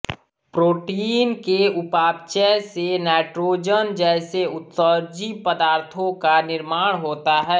protein के उपापचय से नाइट्रोजन जैसे उत्सर्जी पदार्थों का निर्माण होता है